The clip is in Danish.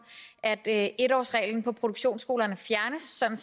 at at en årsreglen på produktionsskolerne fjernes sådan